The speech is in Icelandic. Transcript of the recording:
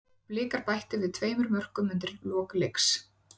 Blikar bættu við tveimur mörkum undir lok leiks.